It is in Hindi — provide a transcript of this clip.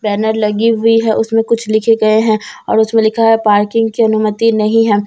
बैनर लगी हुई है उसमें कुछ लिखे गए हैं और उसमें लिखा है पार्किंग की अनुमति नहीं है।